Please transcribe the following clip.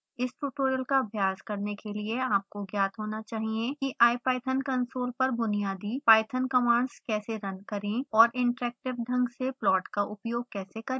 इस ट्यूटोरियल का अभ्यास करने के लिए आपको ज्ञात होना चाहिए कि ipython कंसोल पर बुनियादी python कमांड्स कैसे रन करें और इंटरैक्टिव ढंग से प्लॉट का उपयोग कैसे करें